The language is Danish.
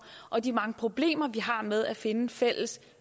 og de mange problemer vi har med at finde fælles